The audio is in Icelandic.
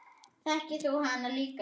Þekkir þú hana líka?